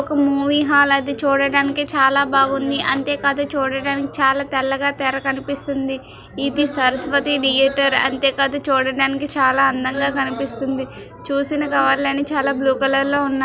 ఒక movie hall అది చూడడానికి చాలా బాగుంది అంతేకాదు చూడడానికి చాలా తెల్లగా తెర కనిపిస్తుంది ఇది సరస్వతి థియేటర్ అంతే కాదు చూడడానికి చాలా అందంగా కనిపిస్తుంది చూసిన చాలా బ్లూ కలర్ లో ఉన్నాయి.